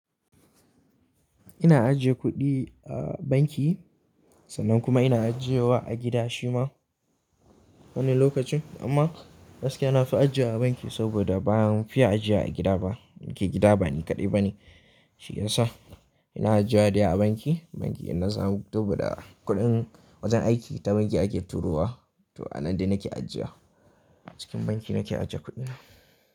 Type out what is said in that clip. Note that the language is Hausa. Ina ajiye kuɗi a banki sannan kuma ina ajiyewa a gida shi ma wani lokacin. Amma gaskiya na fi ajiya a banki saboda baan fiya ajiya a gida ba. Gida ba ni kaɗai bane, shi ya sa ina ajiya dai a banki. Banki ina san, saboda kuɗin wajen aiki ta banki ake turawa. To a nan dai nake ajiya. A cikin banki nake ajiye kuɗina.